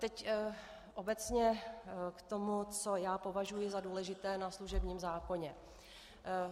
Teď obecně k tomu, co já považuji za důležité na služebním zákoně.